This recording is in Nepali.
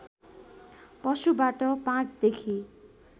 पशुबाट ५ देखि